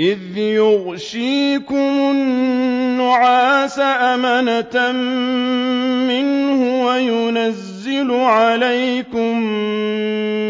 إِذْ يُغَشِّيكُمُ النُّعَاسَ أَمَنَةً مِّنْهُ وَيُنَزِّلُ عَلَيْكُم